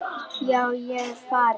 Já, ég er farinn.